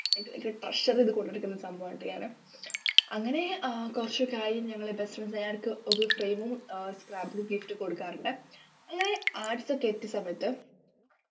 എനിക്ക് എനിക്ക് treasure ചെയ്ത് കൊണ്ടുനടക്കുന്ന സംഭവാണുട്ടോ ഞാന് അങ്ങനെ ആഹ് കൊറചൊക്കായി ഞങ്ങള് best friends എല്ലാര്ക്കും ഒരു frame ഉം ആഹ് scrap book ഉം gift കൊടുക്കാറുണ്ട് അങ്ങനെ arts ഒക്കെ എത്തിയ സമയത്ത്